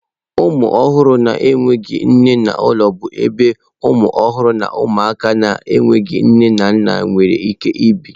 Ụmụ ọhụrụ na-enweghị nne n'ụlọ bụ ebe ụmụ ọhụrụ na ụmụaka na-enweghị nne na nna nwere ike ibi.